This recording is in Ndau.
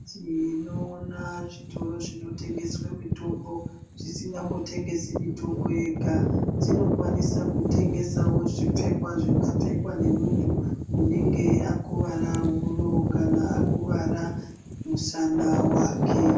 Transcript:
Tinoona zvitioro zvinotengesa mitombo zvisi nganga mbotetengesi mitombo yega zvinokwanisa kutengesa zvipfekwa zvingapfekwa nemuntu anenge akuwara huro kana anenge akuvara musana wake.